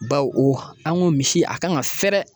Baw an ko misi a kan ka fɛrɛ